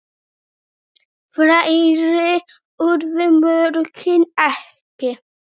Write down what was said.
Fleiri urðu mörkin ekki.